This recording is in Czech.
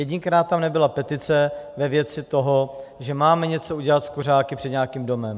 Jedinkrát tam nebyla petice ve věci toho, že máme něco udělat s kuřáky před nějakým domem.